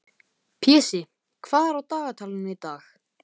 Pési, hvað er á dagatalinu í dag?